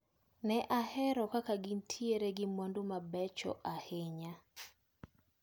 Ne ahero kaka negintiere gi mwandu mabecho ahinya.